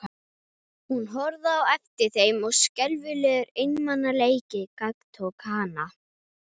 Hún horfði á eftir þeim og skelfilegur einmanaleiki gagntók hana.